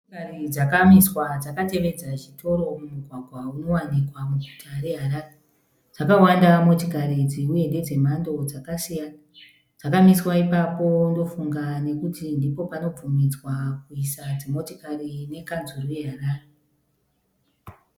Motokari dzakamiswa dzakatevedza chitoro mumugwagwa unowanikwa muguta reHarare. Dzakawanda motikari idzi uye ndedze mhando dzakasiyana. Dzakamiswa ipapo ndofunga nokuti ndipo panobvumidza kuisa dzimotikari nekanzuru yeHarare.